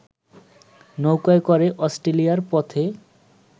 নৌকায় করে অষ্ট্রেলিয়ার পথে